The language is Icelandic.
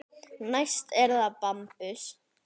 Næst er það bambus.